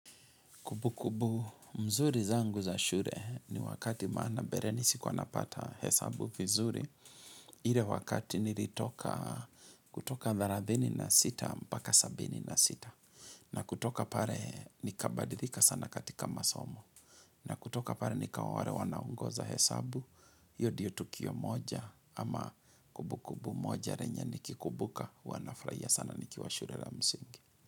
Kumbu-kumbu mzuri zangu za shure ni wakati maana bereni sikwanapata hesabu vizuri. Ile wakati nilitoka kutoka 36 mpaka 76. Na kutoka pare nikabadilika sana katika masomo. Na kutoka pare nikawaware wanaongoza hesabu. Hiyo ndiyo tukio moja ama kumbu-kumbu moja renye nikikumbuka huwa nafurahia sana nikiwa shure la msingi.